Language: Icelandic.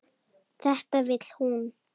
Þetta vill hún.